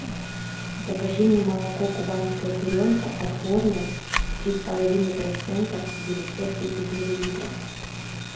закажи мне молоко кубанская буренка отборное три с половиной процента девятьсот тридцать миллилитров